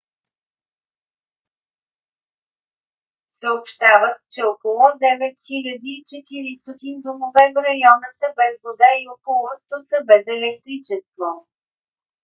съобщават че около 9400 домове в района са без вода и около 100 са без електричество